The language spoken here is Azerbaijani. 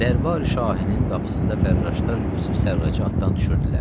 Dərbari şahinin qapısında fərraşlar Yusif Sərracı atdan düşürtdülər.